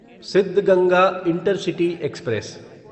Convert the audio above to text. Siddaganga intercity express